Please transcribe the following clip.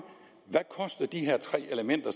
hvad de her tre elementer